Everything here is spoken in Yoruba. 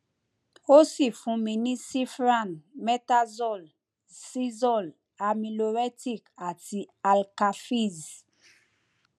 ó sì fún mi ní cifran metazol cizole amiloretic àti alka fizz